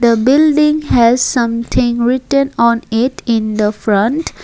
the building has something written on it in the front.